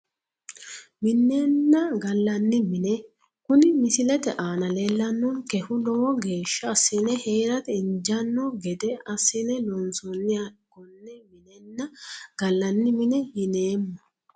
Minenna gallanni mine kuni misilete aana leellannonkehu lowo geeshsha assine heerata injaanno gede assine loonsoonniha konne minenna gallanni mine yineemmo